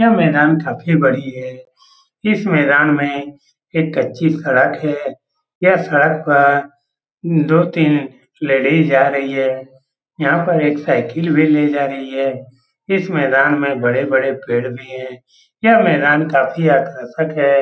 यहाँ मैदान काफ़ी बढ़िया है | इस मैदान में एक कच्ची सड़क है | यह सड़क पर दो तीन लेडीज जा रही है | यहाँ पर एक साइकिल भी ले जा रही है | इस मैदान में बड़े बड़े पेड़ भी है | यहाँ मैदान काफी आकर्षक है ।